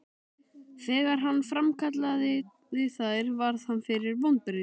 Þegar hann framkallaði þær varð hann fyrir vonbrigðum.